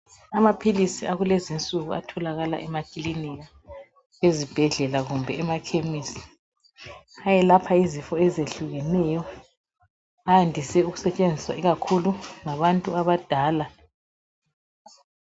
Amaphilisi akulezinsuku atholakala emakilinika, ezibhedlela kumbe emakhemisi. Ayelapha izifo ezehlukeneyo ayandise ukusetshenziswa ikakhulu ngabantu abadala.